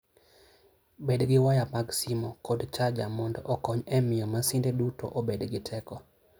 Bed gi waya mag simo kod charger mondo okony e miyo masinde duto obed gi teko.